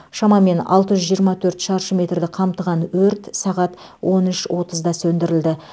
шамамен алты жүз жиырма төрт шаршы метрді қамтыған өрт сағат он үш отызда сөндірілді